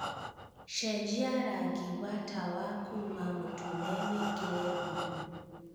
cenjia rangi wa tawa kuma mūtune wīkire buluu